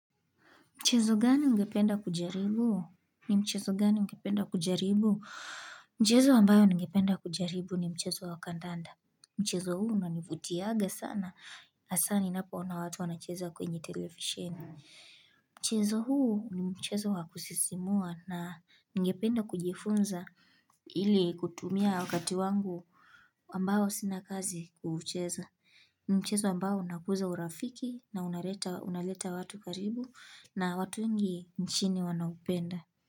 Mchezo gani ungependa kujaribu? Ni mchezo gani ungependa kujaribu? Mchezo ambayo ningependa kujaribu ni mchezo wa kandanda. Mchezo huu unanivutianga sana. Hasa ninapoona watu wanacheza kwenye televisheni. Mchezo huu ni mchezo wa kusisimua na ningependa kujifunza ili kutumia wakati wangu ambao sina kazi kucheza. Ni mchezo ambao unakuza urafiki na unaleta unaleta watu karibu na watu wengi nchini wanaupenda.